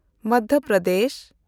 Madhya Pradesh